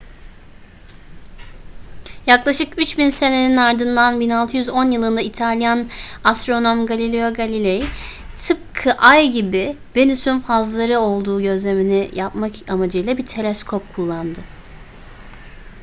yaklaşık üç bin senenin ardından 1610 yılında i̇talyan astronom galileo galilei tıpkı ay gibi venüs'ün fazları olduğu gözlemini yapmak amacıyla bir teleskop kullandı